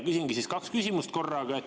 Küsingi kaks küsimust korraga.